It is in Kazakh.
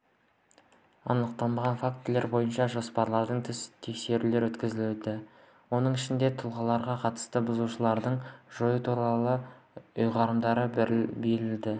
анықталған фактілер бойынша жоспардан тыс тексерулер өткізілді оның ішінде тұлғаларға қатысты бұзушылықтарды жою туралы ұйғарымдар берілді